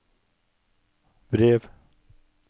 brev